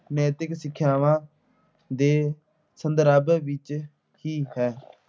ਨੈਤਿਕ ਸਿੱਖਿਆਵਾਂ ਦੇ ਸੰਦਰਭ ਵਿੱਚ ਹੀ ਹੈ।